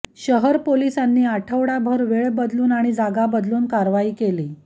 शहर पोलिसांनी आठवडाभर वेळ बदलून आणि जागा बदलून कारवाई केली